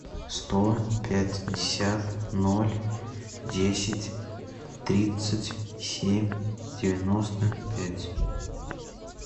сто пятьдесят ноль десять тридцать семь девяносто пять